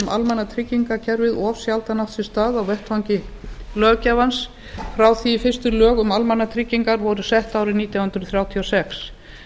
almannatryggingakerfið of sjaldan átt sér stað á vettvangi löggjafans frá því að fyrstu lög um almannatryggingar voru sett árið nítján hundruð þrjátíu og sex